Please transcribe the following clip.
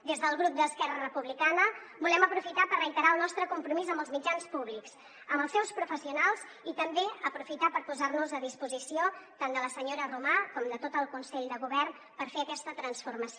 des del grup d’esquerra republicana volem aprofitar per reiterar el nostre compromís amb els mitjans públics amb els seus professionals i també aprofitar per posar nos a disposició tant de la senyora romà com de tot el consell de govern per fer aquesta transformació